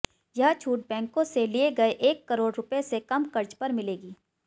यह छूट बैंकों से लिए गए एक करोड़ रुपये से कम कर्ज पर मिलेगी